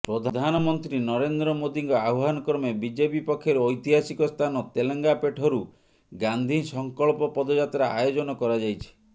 ପ୍ରଧାନମନ୍ତ୍ରୀ ନରେନ୍ଦ୍ର ମୋଦିଙ୍କ ଆହ୍ୱାନକ୍ରମେ ବିଜେପି ପକ୍ଷରୁ ଐତିହାସିକ ସ୍ଥାନ ତେଲେଙ୍ଗାପେଣ୍ଠରୁ ଗାନ୍ଧୀ ସଂକଳ୍ପ ପଦଯାତ୍ରା ଆୟୋଜନ କରାଯାଇଛି